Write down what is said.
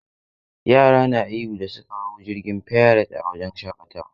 Yara na ihu da suka hau jirgin fairet a wajen shakatawa..